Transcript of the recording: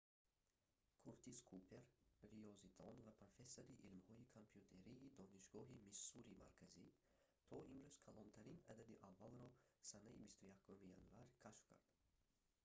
куртис купер риёзидон ва профессори илмҳои компютерии донишгоҳи миссурии марказӣ то имрӯз калонтарин адади аввалро санаи 25 январ кашф кард